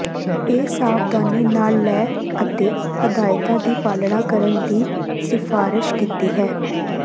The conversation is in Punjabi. ਇਹ ਸਾਵਧਾਨੀ ਨਾਲ ਲੈ ਅਤੇ ਹਦਾਇਤ ਦੀ ਪਾਲਣਾ ਕਰਨ ਦੀ ਸਿਫਾਰਸ਼ ਕੀਤੀ ਹੈ